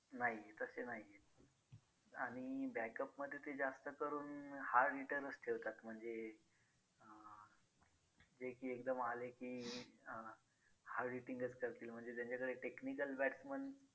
नाही तसे नाही आहेत आणि backup मध्ये ते जास्त करून hard hitter च ठेवतात म्हणजे अं जे की एकदम आले की अं hard hitting च करतील म्हणजे त्यांच्याकडे technical batsman